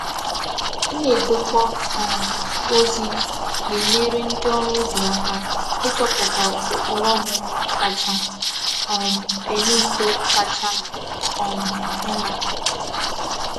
Ina-edeko um ozi na-enyere ndi órú ubi aka ichoputa ukpuru omumu kacha um enye uto kacha um mma.